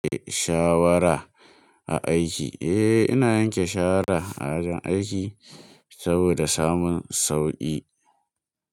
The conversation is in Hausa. Eh shawara a aiki, eh ina yanke shawara a ajin aiki saboda samun sauƙi.